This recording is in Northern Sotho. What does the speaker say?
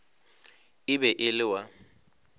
e be e le wa